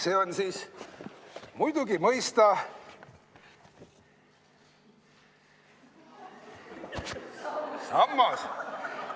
See on siis muidugi mõista sammas.